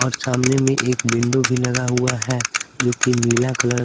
और सामने में एक विंडो भी लगा हुआ है जो कि नीला कलर --